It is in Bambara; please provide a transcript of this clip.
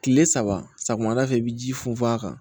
Kile saba samiya da fɛ i bi ji funfun a kan